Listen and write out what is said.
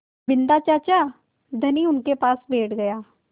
बिन्दा चाचा धनी उनके पास बैठ गया